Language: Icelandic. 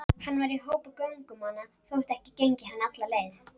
Hann var í hópi göngumanna þótt ekki gengi hann alla leið.